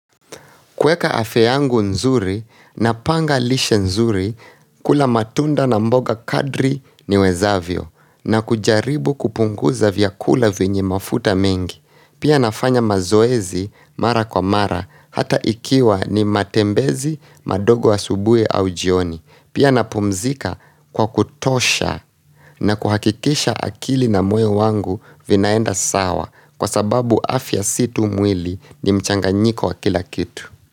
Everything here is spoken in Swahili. Kueka afya yangu nzuri na panga lishe nzuri kula matunda na mboga kadri niwezavyo na kujaribu kupunguza vyakula venye mafuta mengi. Pia nafanya mazoezi mara kwa mara hata ikiwa ni matembezi madogo asubui au jioni. Pia napumzika kwa kutosha na kuhakikisha akili na moyo wangu vinaenda sawa kwa sababu afya si tu mwili ni mchanganyiko wa kila kitu.